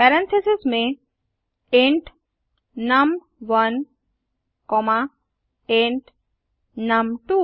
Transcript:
parentheses में int नुम1 comma int नुम2